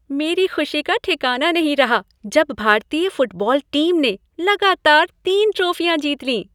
मेरी खुशी का ठिकाना नहीं रहा जब भारतीय फुटबॉल टीम ने लगातार तीन ट्राफियाँ जीत लीं।